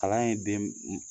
Kalan ye den